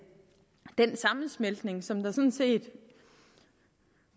sammensmeltning som der sådan set